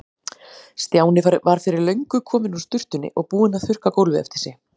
Stjáni var fyrir löngu kominn úr sturtunni og búinn að þurrka gólfið eftir sig.